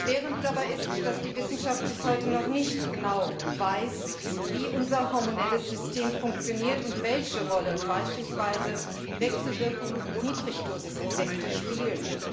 Erschwerend dabei ist, dass die Wissenschaft bis heute noch nicht genau weiß, wie unser hormonelles System funktioniert und welche Rolle beispielsweise Wechselwirkungen und Niedrigdosiseffekte spielen.